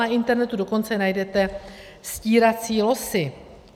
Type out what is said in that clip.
Na internetu dokonce najdete stírací losy.